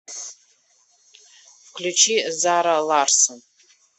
включи зара ларсон